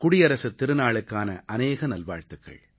குடியரசுத் திருநாளுக்கான அநேக நல்வாழ்த்துக்கள்